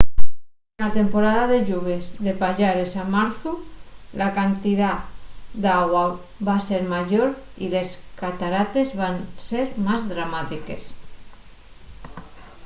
na temporada de lluvies de payares a marzu la cantidá d’agua va ser mayor y les catarates van ser más dramátiques